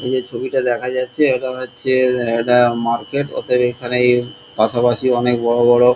এখানে যে ছবিটা দেখা যাচ্ছে এটা মনে হচ্ছে একটা মার্কেট অতএব এখানে পাশাপাশি অনেক বড় বড়-- .